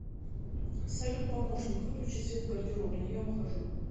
салют помощник выключи свет в гардеробной я ухожу